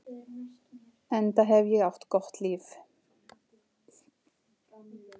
Enda hef ég átt gott líf.